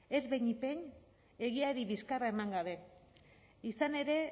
ez behinik behin egiari bizkarra eman gabe izan ere